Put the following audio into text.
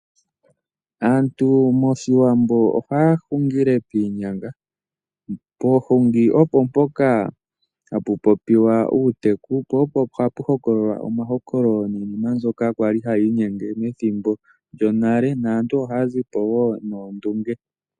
Aantu moshiwambo ohaya hungile piinyanga, poohungi opo mpoka hapu popiwa uuteku, opo hapu hokokolwa omahokololo niinima mbyoka kwali hayi inyenge nethimbo lyonale, naantu ohaya zi po woo noondunge.